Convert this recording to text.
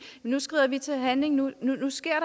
nu skrider vi til handling nu nu sker